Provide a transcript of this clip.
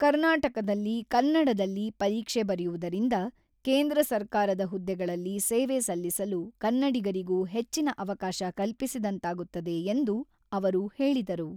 ಕರ್ನಾಟಕದಲ್ಲಿ ಕನ್ನಡದಲ್ಲಿ ಪರೀಕ್ಷೆ ಬರೆಯುವುದರಿಂದ ಕೇಂದ್ರ ಸರ್ಕಾರದ ಹುದ್ದೆಗಳಲ್ಲಿ ಸೇವೆ ಸಲ್ಲಿಸಲು ಕನ್ನಡಿಗರಿಗೂ ಹೆಚ್ಚಿನ ಅವಕಾಶ ಕಲ್ಪಿಸಿದಂತಾಗುತ್ತದೆ ಎಂದು ಅವರು ಹೇಳಿದರು.